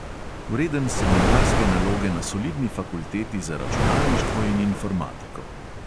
Vreden seminarske naloge na solidni fakulteti za računalništvo in informatiko.